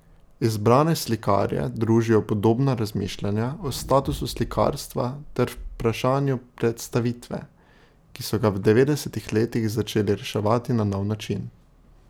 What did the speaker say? Izbrane slikarje družijo podobna razmišljanja o statusu slikarstva ter vprašanju predstavitve, ki so ga v devetdesetih letih začeli reševati na nov način.